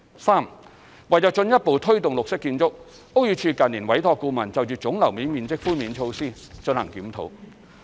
三為進一步推動綠色建築，屋宇署近年委託顧問就總樓面面積寬免措施進行檢討。